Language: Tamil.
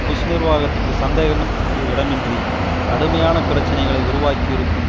புஷ் நிர்வாகத்திற்கு சந்தேகத்திற்கு இடமின்றி கடுமையான பிரச்சனைகளை உருவாக்கியிருக்கும்